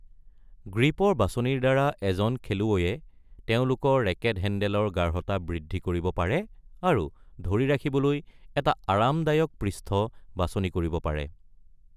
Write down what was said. গ্ৰিপৰ বাছনিৰ দ্বাৰা এজন খেলুৱৈয়ে তেওঁলোকৰ ৰেকেট হেণ্ডেলৰ গাঢ়তা বৃদ্ধি কৰিব পাৰে আৰু ধৰি ৰাখিবলৈ এটা আৰামদায়ক পৃষ্ঠ বাছনি কৰিব পাৰে।